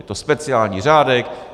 Je to speciální řádek.